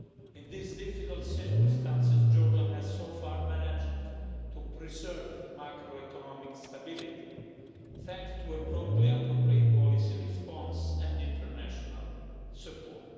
In these difficult circumstances Jordan has so far managed to preserve macroeconomic stability, thanks to a broadly appropriate policy response and international support.